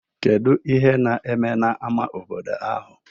Kedu ihe na-eme n'ámá obodo ahụ?